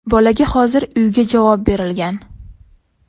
Bolaga hozir uyga javob berilgan.